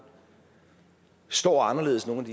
står anderledes nogle af